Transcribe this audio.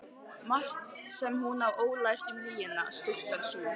Margt sem hún á ólært um lygina, stúlkan sú.